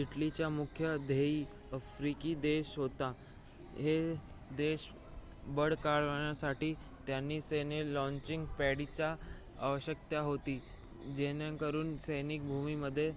इटलीची मुख्य ध्येये आफ्रिकी देश होते हे देश बळकावण्यासाठी त्यांना सैन्य लॉचिंग पॅडची आवश्यकता होती जेणेकरुन सैनिक भूमध्य